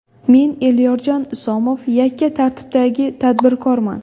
Men Elyorjon Isomov, yakka tartibdagi tadbirkorman.